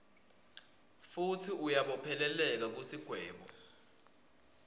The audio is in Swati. futsi uyabopheleleka kusigwebo